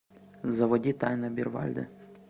заводи тайна обервальда